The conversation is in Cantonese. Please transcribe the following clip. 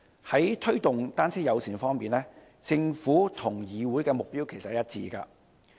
在推動單車友善方面，政府和議會的目標其實是一致的。